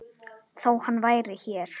Þó hann væri hér.